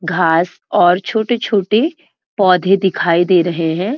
घास और छोटे-छोटे पौधे दिखाई दे रहे हैं।